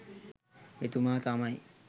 එතුමා තමයි.